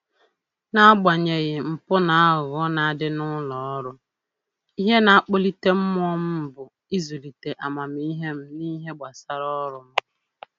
N'agbanyeghị mpụ na aghụghọ na-adị n'ụlọ ọrụ, ihe na-akpalite mmụọ m bụ ịzụlite amamihe m n'ihe gbasara ọrụ m